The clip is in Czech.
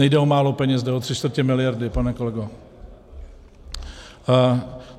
Nejde o málo peněz, jde o tři čtvrtě miliardy, pane kolego.